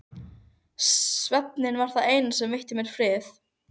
Svefninn var það eina sem veitti mér frið.